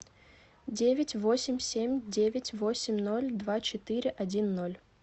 девять восемь семь девять восемь ноль два четыре один ноль